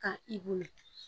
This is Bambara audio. Ka i bonya